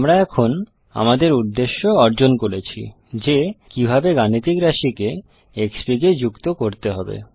আমরা এখন আমাদের উদ্দেশ্য অর্জন করেছি যে কিভাবে গাণিতিক রাশিকে Xfig এ যুক্ত করতে হবে